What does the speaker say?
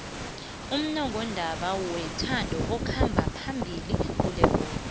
ummongondaba wethando okhamba phambili kulekoro